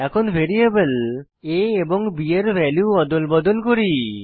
এখন variable a এবং b এর ভ্যালু অদল বদল করি